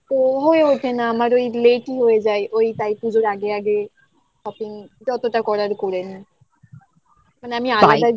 ও হয়ে ওঠে না আমার ওই late ই হয়ে যায় ওই তাই পুজোর আগে আগে shopping ততটা করার করে নিই মানে আমি